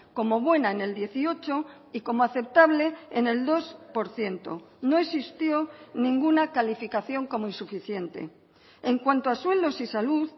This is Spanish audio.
como buena en el dieciocho y como aceptable en el dos por ciento no existió ninguna calificación como insuficiente en cuanto a suelos y salud